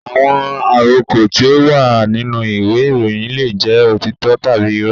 Àwọn àrọko tí ó wà nínú ìwé ìròyìn leè jẹ́ òtítọ́ tàbí irọ́